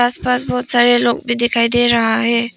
आस पास बहोत सारे लोग भी दिखाई दे रहा है।